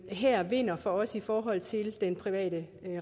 her vinder for os i forhold til den private